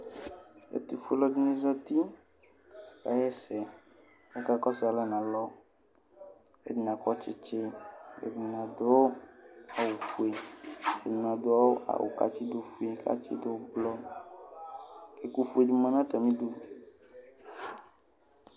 Ɛtʋfue ɔlɔdini zati kaxaɛsɛ akakɔsʋ alɛ nʋ alɔ ɛdini akɔ tsitsi kʋ ɛdini adʋ awʋfue ɛdini adʋ awʋ kʋ atsidʋ ʋblɔ kʋ ɛkʋfuedi lanʋ atali idʋ